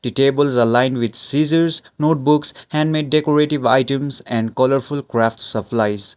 the tables aligned with scissors notebooks handmade decorative items and colourful crafts of lights.